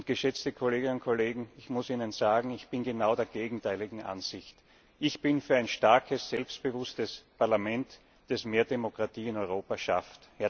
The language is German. Geschätzte Kolleginnen und Kollegen, ich muss Ihnen sagen, ich bin genau der gegenteiligen Ansicht Ich bin für ein starkes, selbstbewusstes Parlament, das mehr Demokratie in Europa schafft.